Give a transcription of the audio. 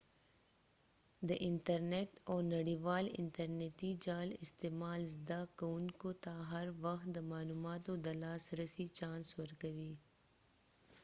د انترنیت او نړیوال انتر نیتی جال استعمال زده کوونکو ته هر وخت د معلوماتو د لاس رسی چانس ورکوی